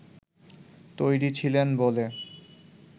তৈরি ছিলেন বলে